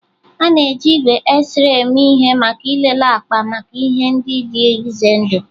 A na-eji igwe X-ray eme ihe maka ịlele akpa maka ihe ndị dị ize ndụ